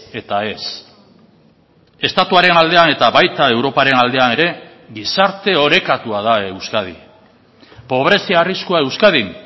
eta ez estatuaren aldean eta baita europaren aldean ere gizarte orekatua da euskadi pobrezia arriskua euskadin